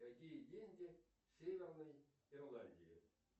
какие деньги в северной ирландии